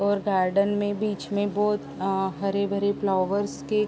और गार्डन में बीच में बोहत अ हरे-भरे फ्लावर्स के --